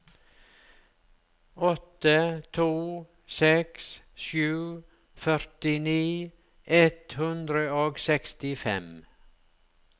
åtte to seks sju førtini ett hundre og sekstifem